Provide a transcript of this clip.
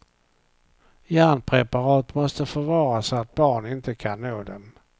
Järnpreparat måste förvaras så att barn inte kan nå dem.